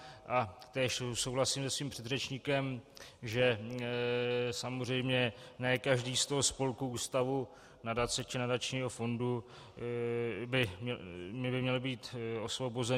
Též souhlasím se svým předřečníkem, že samozřejmě ne každý z toho spolku, ústavu, nadace či nadačního fondu by měl být osvobozen.